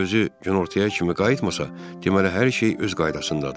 Əgər özü günortaya kimi qayıtmasa, deməli hər şey öz qaydasındadır.